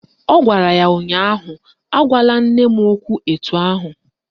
Ọ gwara ya ụnyaahụ " Agwala nne m okwu etu ahụ"!